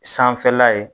Sanfɛla ye